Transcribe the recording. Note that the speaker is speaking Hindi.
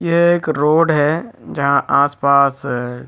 यह एक रोड है जहाँ आस-पास--